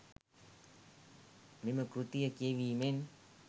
මෙම කෘතිය කියැවීමෙන්